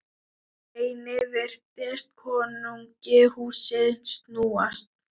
Einnig virtist konungi húsið snúast.